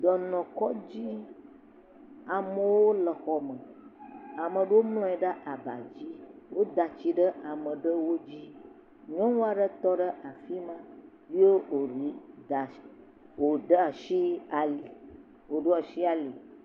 Dɔnɔkɔdzi. Amewo le xɔ me. Ame aɖewo mlɔ anyi ɖe aba dzi. Woda tsi ɖe ame aɖe dzi. Nyɔnu aɖe tɔ ɖe afi na ye woda asi ali woɖo asi ali.